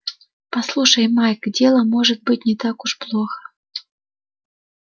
послушай майк дело может быть не так уж плохо